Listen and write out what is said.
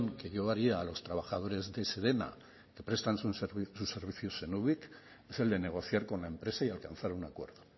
que yo haría a los trabajadores de sedena que prestan sus servicios en ubik es el de negociar con la empresa y alcanzar un acuerdo